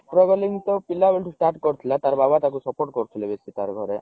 struggling ତା ପିଲା ବେଳୁ start କରିଥିଲା ତାର ବାବା ତାକୁ support କରୁଥିଲେ ବେଶି ତାର ଘରେ